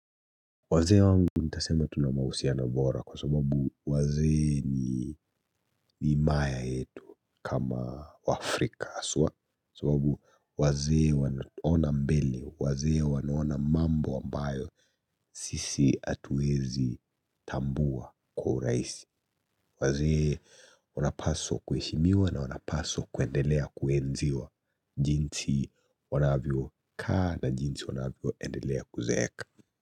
Waze wangu nitasema tunamahusiano na nora kwa sababu wazee ni himaya yetu kama waafrika aswa sababu wazee wanaona mbele wazee wanaona mambo ambayo sisi atuezi tambua kwa uraisi wazee wanapaswa kueshimiwa na wanapaswa kuendelea kuenziwa jinsi wanavyo kaa na jinsi wanavyoendelea kuzeeka.